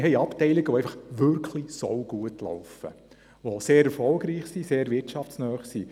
Es gibt Abteilungen, die sehr gut laufen und sehr erfolgreich und wirtschaftsnah sind.